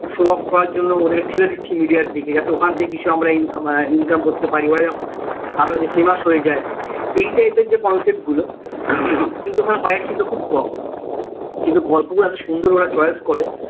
Show off করার জন্য ওদের ঠেলে দিচ্ছি media আর দিকে যাতে ওখান থেকে কিছু আমরা income আহ income করতে পারি ওরা যেমন famous হয়ে যাই এই type এর যে concept গুলো কিন্তু ওখানে budget কিন্তু খুব কম কিন্তু গল্পগুলো এত সুন্দর ওরা choice করে